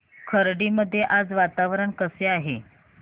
खर्डी मध्ये आज वातावरण कसे आहे